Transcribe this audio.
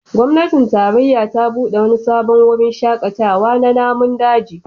Gwamnatin tarayya ta bude wani sabon wurin shakatawa na namun daji